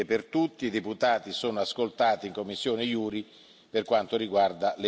I deputati sono ascoltati in commissione JURI per quanto riguarda le immunità.